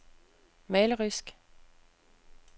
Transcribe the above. malerisk